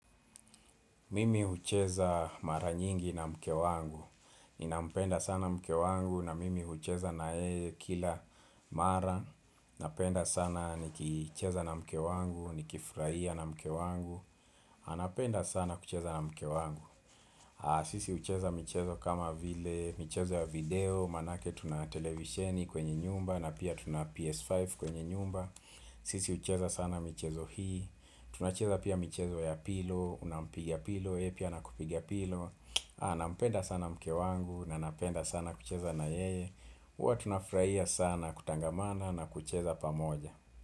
Mimi hucheza mara nyingi na mke wangu Ninampenda sana mke wangu na mimi hucheza naye kila mara Napenda sana ni kicheza na mke wangu, ni kifurahia na mke wangu napenda sana kucheza na mke wangu Sisi hucheza mchezo kama vile mchezo ya video Maanake tuna televisheni kwenye nyumba na pia tuna PS5 kwenye nyumba Sisi ucheza sana mchezo hii Tunacheza pia michezo ya pilo, nampigia pilo, yeye pia akupigia pilo nampenda sana mke wangu, nanapenda sana kucheza na yeye huwa tunafurahia sana kutangamana na kucheza pamoja.